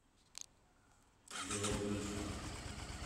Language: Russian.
белая калитва